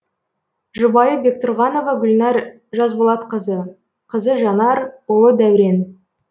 жұбайы бектүрғанова гүлнәр жасболатқызы қызы жанар ұлы дәурен